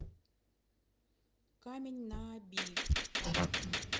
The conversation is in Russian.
камень на оби